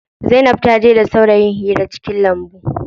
Zainab taje da saurayin hira cikin lambu.